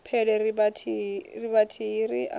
pele ri vhathihi ri a